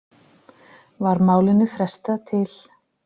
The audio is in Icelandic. Var málinu frestað til